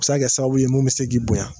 Bɛ se ka kɛ sababu ye mun bɛ se k'i bonya